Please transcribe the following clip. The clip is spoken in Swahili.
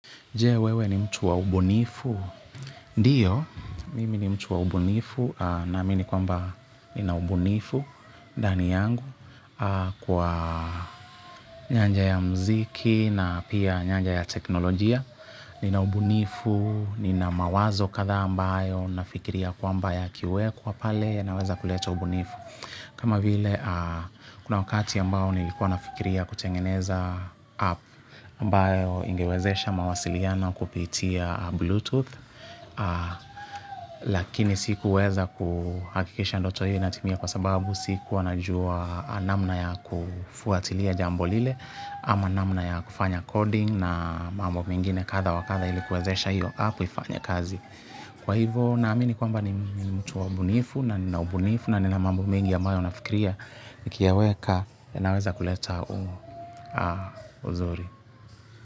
Je, wewe ni mtu wa ubunifu? Ndiyo, mimi ni mtu wa ubunifu naamini kwamba nina ubunifu ndani yangu kwa nyanja ya mziki na pia nyanja ya teknolojia. Nina ubunifu, nina mawazo kadhaa ambayo nafikiria kwamba yakiwekwa pale yanaweza kuleta ubunifu. Kama vile, kuna wakati ambao nilikuwa nafikiria kutengeneza app ambayo ingewezesha mawasiliano kupitia bluetooth lakini sikuweza kuhakikisha ndoto hiyo inatimia kwa sababu sikuwa najua namna ya kufuatilia jambo lile ama namna ya kufanya coding na mambo mengine kadha wa kadha ili kuwezesha hiyo app ifanye kazi. Kwa hivo, naamini kwamba ni mtu wa ubunifu na nina ubunifu. Na nina mambo mengi ambayo nafikiria. Nikiyaweka yanaweza kuleta u uzuri.